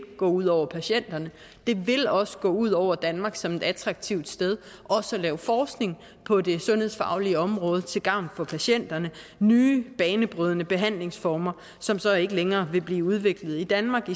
gå ud over patienterne og det vil også gå ud over danmark som et attraktivt sted at lave forskning på det sundhedsfaglige område til gavn for patienterne og nye banebrydende behandlingsformer som så ikke længere vil blive udviklet i danmark